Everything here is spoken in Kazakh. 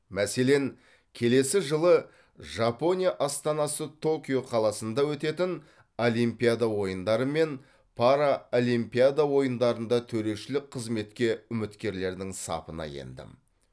мәселен келесі жылы жапония астанасы токио қаласында өтетін олимпиада ойындары мен параолимпиада ойындарында төрешілік қызметке үміткерлердің сапына ендім